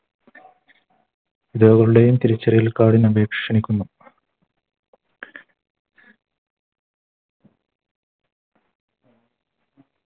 തിരിച്ചറിയൽ Card ന് അപേക്ഷ ക്ഷണിക്കുന്നു